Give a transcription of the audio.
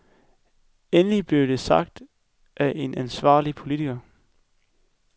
Endelig blev det sagt af en ansvarlig politiker.